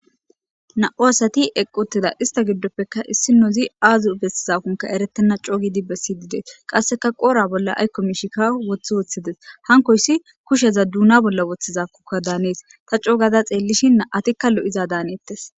Na7u asathi equuththida; isththa giddoppekka issinozi aazo bessizakkonkka ereththenna coogidi bessiddi dee; qasseka qoora bolla aykko mishikka woththi woththi des; hankoyssi kusheza duunaa bolla woththizakokka daanees; tha coogada xeellishin naa7athikka lo7izaa daaneeththes.